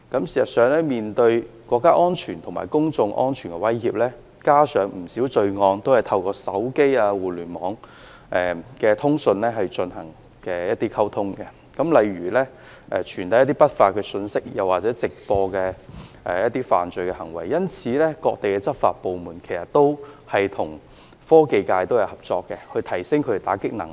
事實上，面對國家安全及公眾安全的威脅，加上不少罪行都是透過手機、互聯網等通訊渠道進行溝通，例如傳遞一些不法信息或直播犯罪行為等，故此各地的執法部門均會與科技界合作，以加強其打擊罪行的能力。